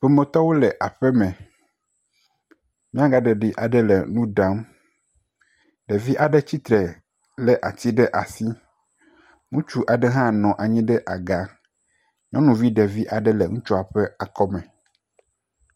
Ƒometɔwo le aƒe me. Nyaga ɖeɖi aɖe le nu ɖam. Ɖevi aɖe tsitre le ati ɖe asi. Ŋutsu aɖe hã nɔ anyi ɖe aga. Nyɔnuvi ɖevi aɖe nɔ ŋutsua ƒe akɔ me.